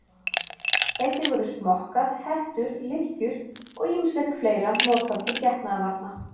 Einnig voru smokkar, hettur, lykkjur og ýmislegt fleira notað til getnaðarvarna.